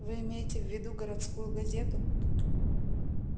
вы имеете в виду городскую газету